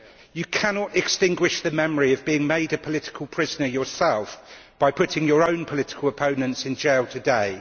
You cannot extinguish the memory of being made a political prisoner yourself by putting your own political opponents in jail today.